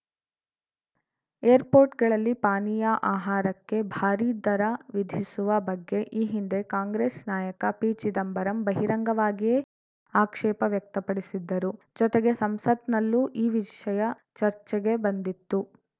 ಏರ್‌ಪೋರ್ಟ್‌ಗಳಲ್ಲಿ ಪಾನೀಯ ಆಹಾರಕ್ಕೆ ಭಾರೀ ದರ ವಿಧಿಸುವ ಬಗ್ಗೆ ಈ ಹಿಂದೆ ಕಾಂಗ್ರೆಸ್‌ ನಾಯಕ ಪಿಚಿದಂಬರಂ ಬಹಿರಂಗವಾಗಿಯೇ ಆಕ್ಷೇಪ ವ್ಯಕ್ತಪಡಿಸಿದ್ದರು ಜೊತೆಗೆ ಸಂಸತ್‌ನಲ್ಲೂ ಈ ವಿಷಯ ಚರ್ಚೆಗೆ ಬಂದಿತ್ತು